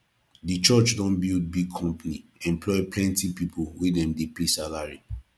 di church don build big company employ plenty pipu wey dem dey pay salary